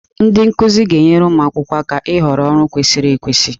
Ndị nkuzi ga-enyere ụmụ akwụkwọ aka ịhọrọ ọrụ kwesịrị ekwesị.